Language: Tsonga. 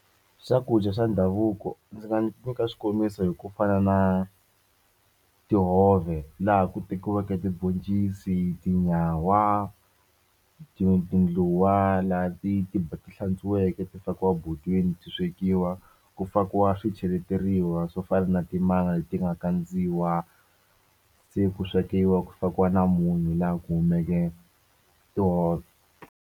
Swakudya swa ndhavuko ndzi nga nyika xikombiso hi ku fana na tihove laha ku tekiwaka tiboncisi tinyawa ti tindluwa laha ti ti hlantsweke ti fakiweke botweni ti swekiwa ku fakiwa swi cheleteriwa swo fana na timanga leti nga kandziwa se ku swekiwa ku fakiwa na munyu laha ku humeke tihove.